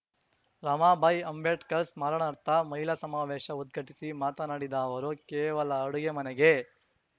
ರಮಾಬಾಯಿ ಅಂಬೇಡ್ಕರ್‌ ಸ್ಮರಣಾರ್ಥ ಮಹಿಳಾ ಸಮಾವೇಶ ಉದ್ಘಾಟಿಸಿ ಮಾತನಾಡಿದ ಅವರು ಕೇವಲ ಅಡುಗೆ ಮನೆಗೆ